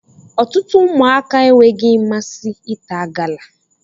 Ọtụtụ ụmụaka enweghị mmasị ịta gala